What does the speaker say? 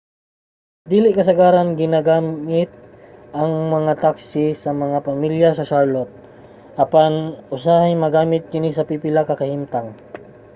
dili kasagaran ginagamit ang mga taxi sa mga pamilya sa charlotte apan usahay magamit kini sa pipila ka kahimtang